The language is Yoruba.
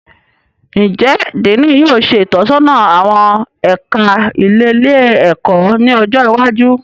Njẹ Diini yóò ṣe itọsọna awọn ẹka ilelé-ẹkọ ni ọjọ iwájú?